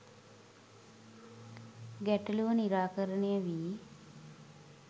ගැටලුව නිරාකරණය වී